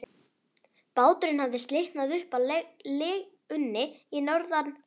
Báturinn hafði slitnað upp af legunni í norðanroki.